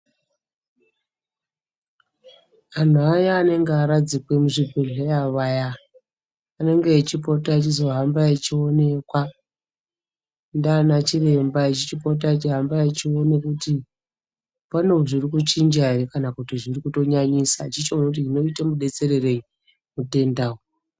Vantu vaya vanenge varadzikwa muzvibhedhlera vaya, vanenge veipota veizohamba veionekwa ndaanachiremba veipota veihamba veiona kuti pane zvirikuchinja here kana zvirikutonyanyisa echitoona kuti oite mubetsererei mutenda uyu.